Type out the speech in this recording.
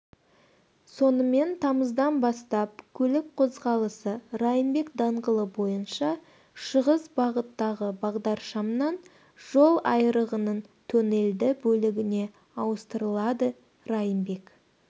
сонымен тамыздан бастап көлік қозғалысы райымбек даңғылы бойынша шығыс бағыттағы бағдаршамнан жолайрығының тоннелді бөлігіне ауыстырылады райымбек